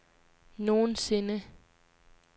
nogensinde